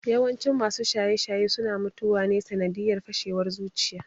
Yawancin masu shaye-shaye suna mutuwa ne sanadiyar fashewar zuciya